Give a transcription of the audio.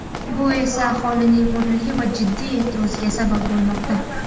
Bu esa aholining o‘rinli va jiddiy e’tiroziga sabab bo‘lmoqda.